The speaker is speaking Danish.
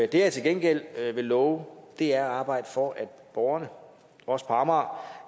det jeg til gengæld vil love er at arbejde for at borgerne også på amager